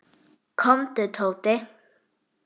Komdu, Tóti.